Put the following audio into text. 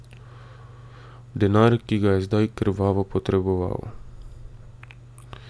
Denar, ki ga je zdaj krvavo potreboval.